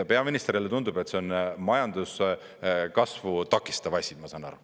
Peaministrile tundub, et see on majanduskasvu takistav asi, ma saan aru.